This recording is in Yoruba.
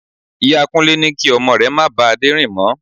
Ìyá Kúnlé ní kí ọmọ rẹ̀ má ba Adé rìn mó.